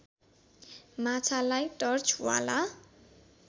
माछालाई टर्चवाला